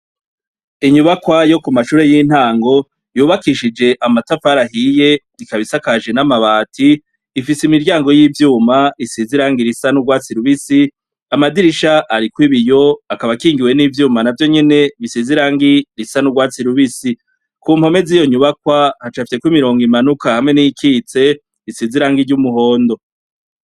Inyubakwa yo ku mashure y'intango yubakishije amatafari ahiye ,ikabisakaje n'amabati ifise imiryango y'ivyuma isizirangi risa n'urwatsi rubisi amadirisha ari kw'ibiyo akaba kingiwe n'ivyuma navyonyene bisizirangi risa n'urwatsi rubisi, ku mpome ziyo nyubakwa hacafyekw'imirongo imanuka hamwe n'ikitse isizirangi ry'umuhondo.